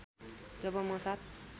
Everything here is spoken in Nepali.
जब म ७